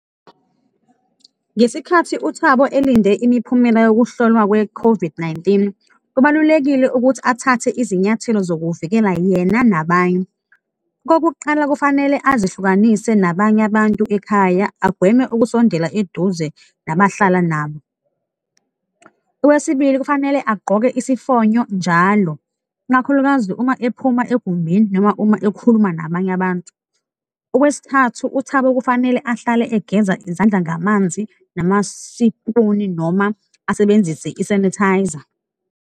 Ngesikhathi uThabo elinde imiphumela yokuhlolwa kwe-COVID-19, kubalulekile ukuthi athathe izinyathelo zokuvikela yena nabanye. Okokuqala, kufanele azihlukanise nabanye abantu ekhaya, agweme ukusondela eduze nabahlala nabo. Okwesibili, kufanele agqoke isifonyo njalo, ikakhulukazi uma ephuma egumbini noma uma ekhuluma nabanye abantu. Okwesithathu, uThabo kufanele ahlale egeza izandla ngamanzi namasipuni noma asebenzise i-sanitizer.